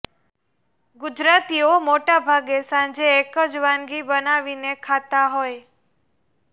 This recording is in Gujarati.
ગુજરાતીઓ મોટા ભાગે સાંજે એક જ વાનગી બનાવીને ખાતા હોય